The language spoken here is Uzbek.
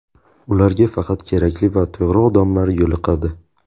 Ularga faqat kerakli va to‘g‘ri odamlar yo‘liqadi.